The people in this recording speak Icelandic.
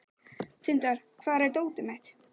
Tindar, hvar er dótið mitt?